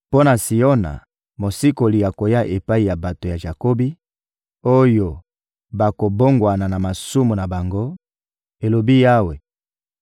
«Mpo na Siona, mosikoli akoya epai ya bato ya Jakobi, oyo bakobongwana na masumu na bango,» elobi Yawe.